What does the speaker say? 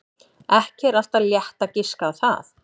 Ekki er alltaf létt að giska á það.